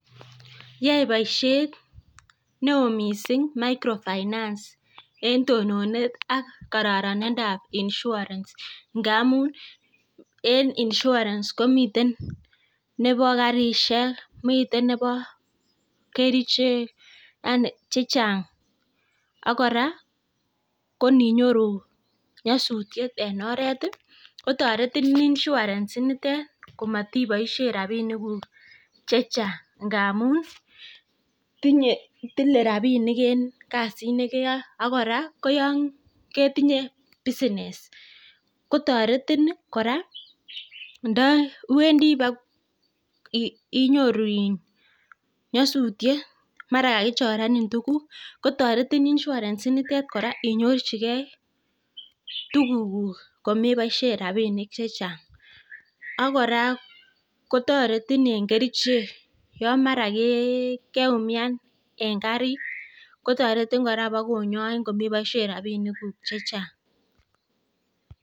rance Yae boisiet neo mising microfinance eng tononet ak kororonindab insurance ngamun en insurance komiten nebo karishek, miten nebo kerichek, yani chechang, ak kora koninyoru nyasutiet en oret, kotoretin insurance initet komatiboishen rabiniguk chechang ng'amun tile rabinik en kasit nekeyoe ak kora ko yon ketinye business kotoretin kora ndo iwendi bago inyoru nyasutiet mara kagichorenin tuguk, kotoretin insurance initet kora inyorjige tugukuk komeboishen rabinik chechang. Ak kora kotoretin eng kerichek yon mara keumian en karit kotoretin kora kobokonyoin komeboishen rabinikuk chechang.